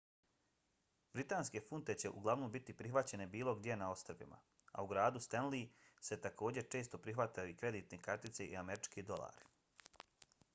britanske funte će uglavnom biti prihvaćene bilo gdje na ostrvima a u gradu stenly se također se često prihvataju i kreditne kartice i američki dolari